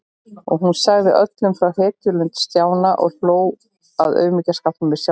Og hún sagði öllum frá hetjulund Stjána og hló að aumingjaskapnum í sjálfri sér.